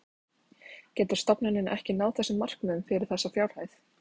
Getur stofnunin ekki náð þessum markmiðum fyrir þessa fjárhæð?